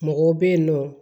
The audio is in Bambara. Mɔgɔw bɛ yen nɔ